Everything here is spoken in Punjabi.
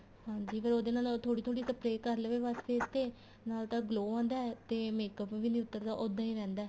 ਹਾਂਜੀ ਫ਼ੇਰ ਉਹਦੇ ਨਾਲ ਥੋੜੀ ਥੋੜੀ spray ਕਰ ਲਵੇ ਬੱਸ face ਤੇ ਨਾਲ ਤਾਂ glow ਆਦਾ ਤੇ makeup ਵੀ ਨਹੀਂ ਉੱਤਰ ਦਾ ਉੱਦਾਂ ਹੀ ਰਹਿੰਦਾ